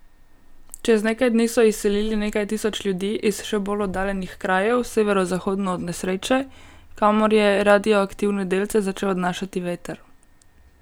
Čez nekaj dni so izselili nekaj tisoč ljudi iz še bolj oddaljenih krajev severozahodno od nesreče, kamor je radioaktivne delce začel odnašati veter.